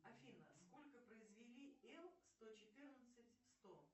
афина сколько произвели л сто четырнадцать сто